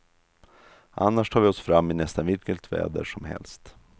Annars tar vi oss fram i nästan vilket väder som helst.